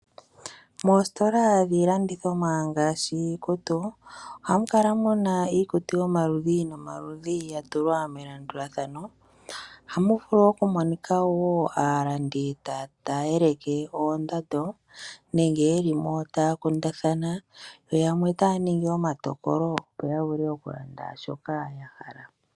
Moositola dhiilandithomwa ngaashi iikutu ohamu kala muna iikutu yomaludhi nomaludhi ya pakelwa melandulathano. Ohamu vulu oku monika wo aalandi taya eleke oondando nenge ye li mo taya kundathana yo yamwe taya ningi omatokolo opo ya vule oku landa shoka ya hala .